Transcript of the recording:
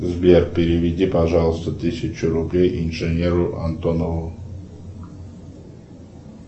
сбер переведи пожалуйста тысячу рублей инженеру антонову